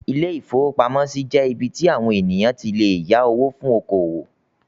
Ilé-ìfowópamọ́sí jẹ́ ibí tí àwon ènìyàn tí lè yá owó fún oko-òwò